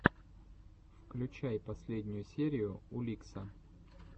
включай последнюю серию уликса